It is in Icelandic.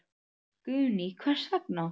Guðný: Hvers vegna?